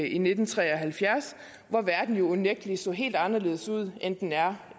i nitten tre og halvfjerds hvor verden jo unægtelig så helt anderledes ud end den gør